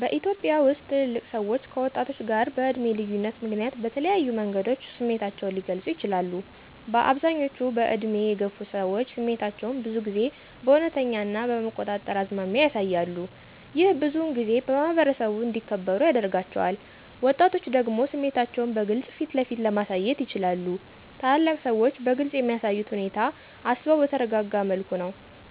በኢትዮጵያ ውስጥ ትልልቅ ሰዎች ከወጣቶች ጋር በዕድሜ ልዩነት ምክንያት በተለያዩ መንገዶች ስሜታቸውን ሊገልጹ ይችላሉ፦ አብዛኞቹ በዕድሜ የገፉ ሰዎች ስሜታቸውን ብዙ ጊዜ በእውነተኛ ና በመቆጣጠር አዝማሚያ ያሳያሉ። ይህ ብዙውን ጊዜ በማኅበረሰቡ እንዲከበሩ ያደርጋቸዋል። ወጣቶች ደግሞ ስሜታቸውን በግልጽ ፊትለፊት ለማሳየት ይችላሉ። ታላላቅ ሰዎች በግልፅ የሚያሳዩት ሁኔታ አስበው በተረጋጋ መልኩ ነው።